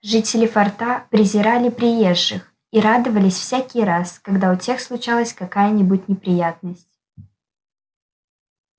жители форта презирали приезжих и радовались всякий раз когда у тех случалась какая-нибудь неприятность